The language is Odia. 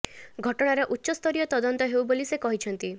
ଘଟଣାର ଉଚ୍ଚ ସ୍ତରୀୟ ତଦନ୍ତ ହେଉ ବୋଲି ସେ କହିଛନ୍ତି